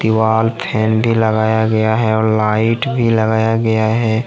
वाल फैन भी लगाया गया है और लाइट भी लगाया गया है।